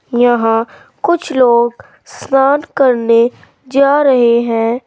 यहां कुछ लोग स्नान करने जा रहे हैं।